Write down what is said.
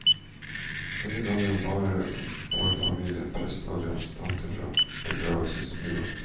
Denne gangen bare for familien, prest og representantene fra begravelsesbyrået.